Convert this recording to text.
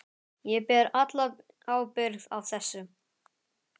Ég ber alla ábyrgð á þessu.